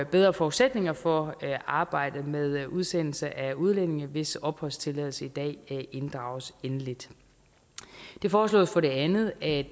bedre forudsætninger for arbejdet med udsendelse af udlændinge hvis opholdstilladelse i dag inddrages endeligt det foreslås for det andet at